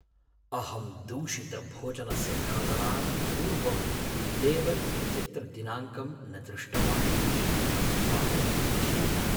अहं दूषितभोजनस्य खादनात् पूर्वं लेबल् इत्यत्र दिनाङ्कं न दृष्टवान् इति अहं खिन्नः।